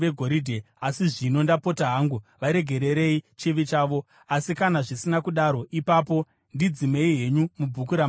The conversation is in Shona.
Asi zvino, ndapota hangu varegererei chivi chavo, asi kana zvisina kudaro, ipapo ndidzimei henyu mubhuku ramakanyora.”